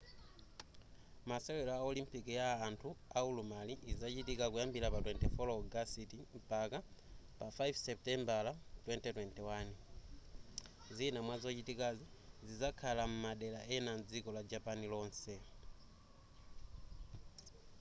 masewero a olimpiki ya anthu aulumali izachitika kuyambira 24 ogasiti mpaka 5 seputembala 2021 zina mwazochitika zizakhala m'madera ena mdziko la japan lonse